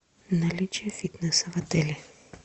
наличие фитнеса в отеле